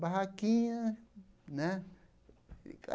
Barraquinha, né?